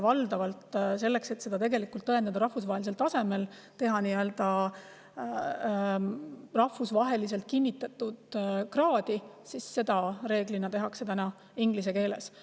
Valdavalt, selleks et seda tõendada rahvusvahelisel tasemel, nii-öelda rahvusvaheliselt kinnitatud kraad, tehakse seda inglise keeles.